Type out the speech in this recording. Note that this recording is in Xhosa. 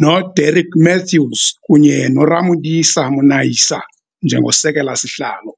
noDerek Mathews kunye noRamodisa Monaisa njengoSekela-Sihlalo.